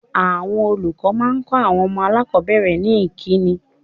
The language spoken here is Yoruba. Àwọn olùkọ́ máa ń kọ àwọn ọmọ aláàkọ́bẹ̀rẹ̀ ní ìkíni.